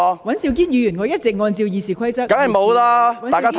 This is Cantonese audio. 尹兆堅議員，我一直按照《議事規則》主持會議。